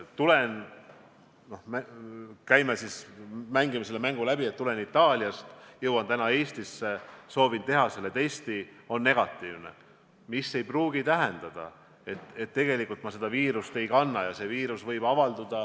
No mängime selle mängu läbi, et tulen Itaaliast, jõuan täna Eestisse, soovin teha testi, see on negatiivne, mis aga ei pruugi tähendada, et ma tegelikult seda viirust ei kanna.